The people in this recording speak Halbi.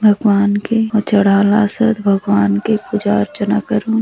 भगबान के चढ़ा लासोत भगवान के पूजा अर्चना करुन --